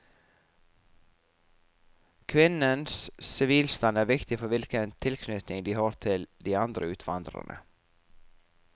Kvinnenes sivilstand er viktig for hvilken tilknytning de har til de andre utvandrerne.